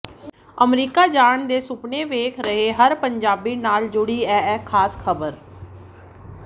America ਜਾਣ ਦੇ ਸੁਪਨੇ ਵੇਖ ਰਹੇ ਹਰ ਪੰਜਾਬੀ ਨਾਲ ਜੁੜੀ ਹੈ ਇਹ ਖਾਸ ਖ਼ਬਰ